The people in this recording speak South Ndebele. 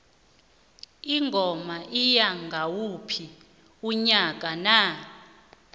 ingoma iya ngayiphi inyanga na